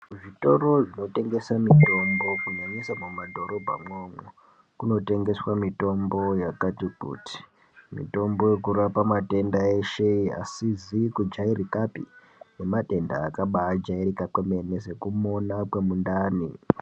Kuzvitoro zvinotengese mitombo kunyanyisa mumadhorobhamwo. mumadhorobha mwomwo kunotengeswe mitombo yakati kuti mitombo yekurape matenda eshe asizi kujairika pee nematenda akabajairika kwemene sekumona kwemundani.